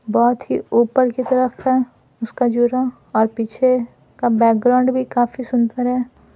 बहुत ही ऊपर की तरफ है उसका जूरा और पीछे का बैकग्राउंड भी काफी सुंदर है।